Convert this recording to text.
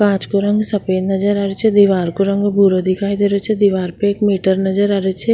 कांच को रंग सफ़ेद नजर आ रेहो छे दीवार को रंग भूरो दिखाई देरो छे दीवार पे एक मीटर नजर आ रेहो छे।